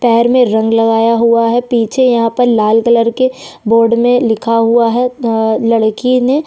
पैर में रंग लगाया हुआ है पीछे यहाँ पर लाल कलर के बोर्ड में लिखा हुआ है आ लड़की ने --